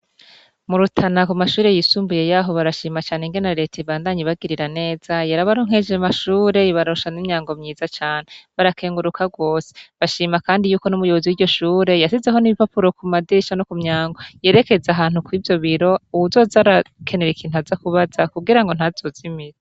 Mu rutana ku mashure yayisumbuye yaho bashima cane ingene reta ibandanya ibagiririra neza yarabaronkeje amashure ibaronsa Imyango mwiza cane barakenguruka gose bashima kandi nuwo muyibozi wiryo shure yashizike ibipapuro ku madirisha ku myango yerekeza ahantu kwivyo biyo uwuzoza arakenera ikintu azoze arabaza kugirango ntazozimire